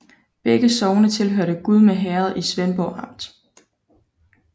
Begge sogne hørte til Gudme Herred i Svendborg Amt